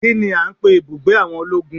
Kini a ń pè ibùgbé àwọn ológun?